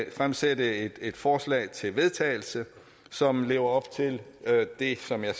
at fremsætte et forslag til vedtagelse som lever op til det som jeg